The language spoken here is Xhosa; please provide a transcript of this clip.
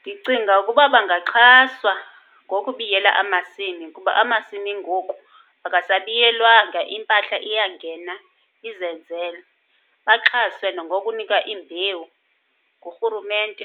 Ndicinga ukuba bangaxhaswa ngokubiyela amasimi kuba amasimi ngoku akasabiyelwanga, impahla iyangena izenzele. Baxhaswe nangokunikwa iimbewu ngurhurumente,